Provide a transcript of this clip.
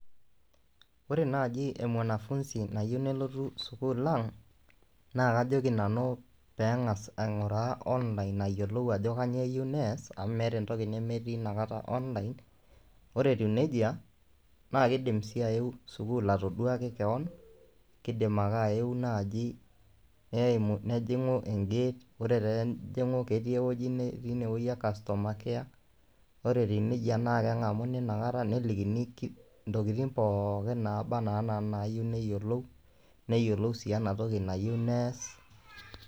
Wore naaji e mwanafunzi nayieu nelotu sukuul ang', naa kajoki nanu pee engas ainguraa online ayielou ajo kainyoo eyieu neas amu meeta entoki nemetii inakata online . Wore etiu nejia, naa kiidim sii ayeu sukuul atoduaki kewon, kidim ake ayeu naaji, neumu nejingu e gate wore pee ejingu, ketii ewoji ne teniewoji e customer care wore etiu nejia naa kengamuni inakata, nelikini intokitin pookin naaba naa enaa inayieu neyiolou. Neyiolou sii ena toki nayieu neas.